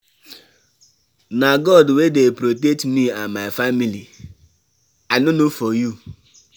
Na God wey dey protect me and my family. I no know for you.